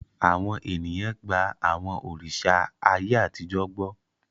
Àwọn ènìyàn gba àwọn òrìṣà ayé àtijọ́ gbọ́.